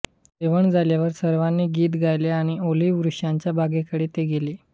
जेवण झाल्यावर सर्वांनी गीत गायले आणि ओलिव्ह वृक्षांच्या बागेकडे ते गेले